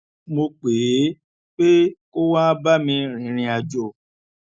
mo pè é pé kó wá bá mi rìnrìn àjò